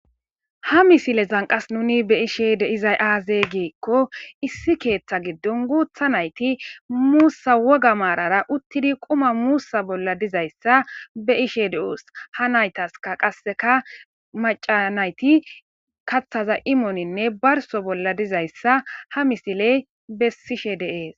Ha misile zanqas nuni be ishe de izay aaze giikko issi keeththa giddon guutha nayti muussa woga maarara uttidi quma muussa bolla dizayssa be ishe de7oos ha naytaska qasseka macanayti kathaza imooninne barso bolla dizayssa ha misiley bessishe deees.